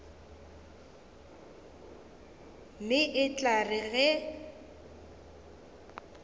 mme e tla re ge